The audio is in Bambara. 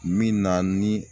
Min na ni